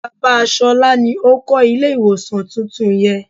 Bàbá ṣolá ni ó kó ilé ìwòsàn tuntun yẹ.